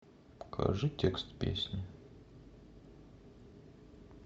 покажи текст песни